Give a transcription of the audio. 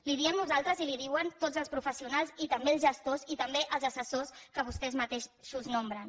li ho diem nosaltres i li ho diuen tots els professionals i també els gestors i també els assessors que vostès mateixos nomenen